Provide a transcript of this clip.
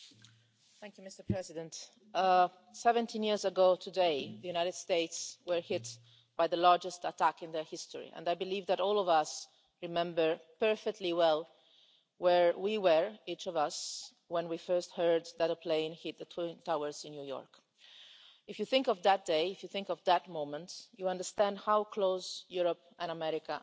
Mr President, 17 years ago today, the USA was hit by the largest attack in its history and I believe that all of us remember perfectly well where we were, each of us, when we first heard that a plane had hit the twin towers in New York. If you think of that day, if you think of that moment, you understand how close Europe and America have always been